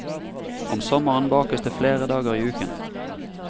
Om sommeren bakes det flere dager i uken.